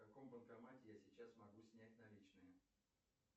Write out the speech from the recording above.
в каком банкомате я сейчас могу снять наличные